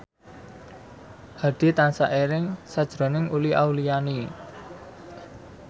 Hadi tansah eling sakjroning Uli Auliani